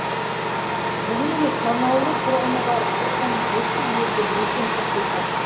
бүгінде санаулы тұрғыны бар тоқсан жеті елді мекен тіркелген